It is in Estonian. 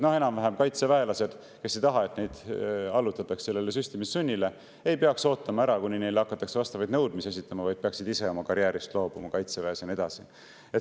Noh, kaitseväelased, kes ei taha, et neid allutataks süstimissunnile, ei peaks ootama ära, kuni neile hakatakse vastavaid nõudmisi esitama, vaid peaksid ise oma karjäärist Kaitseväes loobuma, ja nii edasi.